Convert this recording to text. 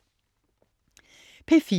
P4: